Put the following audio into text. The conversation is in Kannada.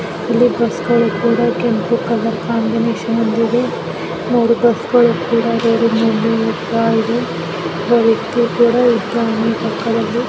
ಇಲ್ಲಿ ಬಸ್ಸುಗಳು ಕೂಡ ಕೆಂಪು ಕಲರ್ ಕಾಂಬಿನೇಷನ್ ಅಲ್ಲಿ ಇದೆ ನೋಡಿ ಬಸ್ಗಳು ಹೇಗೆ ಕೂಡ ಇದೆ ಒಬ್ಬ ವ್ಯಕ್ತಿ ಕೂಡ ಇದ್ದಾನೆ ಪಕ್ಕದಲ್ಲಿ.